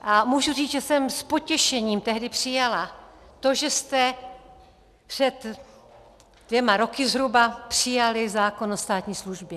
A můžu říct, že jsem s potěšením tehdy přijala to, že jste před dvěma roky zhruba přijali zákon o státní službě.